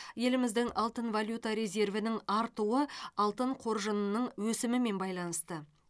еліміздің алтын валюта резервінің артуы алтын қоржынының өсімімен байланысты